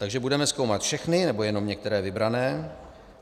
Takže budeme zkoumat všechny, nebo jenom některé vybrané?